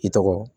I tɔgɔ